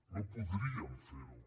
no podríem fer ho